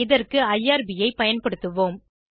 இதற்கு ஐஆர்பி ஐ பயன்படுத்துவோம்